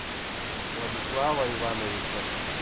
владислава ивановича